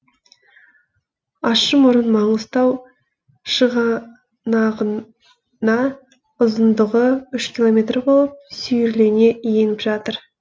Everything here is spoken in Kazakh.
ащымұрын маңғыстау шығанағына ұзындығы үш километр болып сүйірлене еніп жатыр